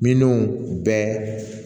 Minnu bɛ